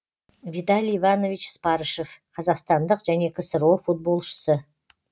виталий иванович спарышев қазақстандық және ксро футболшысы